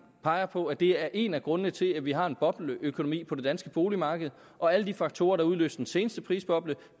peger på at det er en af grundene til at vi har en bobleøkonomi på det danske boligmarked og alle de faktorer der udløste den seneste prisboble